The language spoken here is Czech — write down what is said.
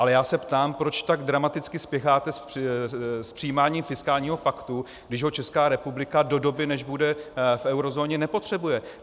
Ale já se ptám, proč tak dramaticky spěcháte s přijímáním fiskálního paktu, když ho Česká republika do doby, než bude v eurozóně, nepotřebuje.